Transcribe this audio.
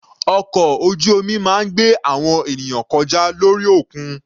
Ọkọ̀ ojú omi máa ń gbé àwọn ènìyàn kọjá lórí òkun.